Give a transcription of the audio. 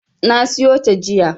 Na siyo ta jiya.